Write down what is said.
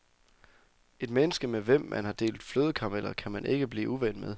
Et menneske med hvem man har delt flødekarameller kan man kan ikke blive uven med.